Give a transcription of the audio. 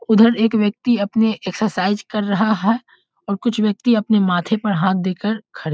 उधर एक व्यक्ति अपने एक्सरसाइज कर रहा है और कुछ व्यक्ति अपने माथे पर हाथ दे कर खड़े --